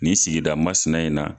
Ni sigida masina in na.